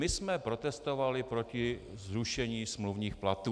My jsme protestovali proti zrušení smluvních platů.